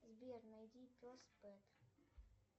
сбер найди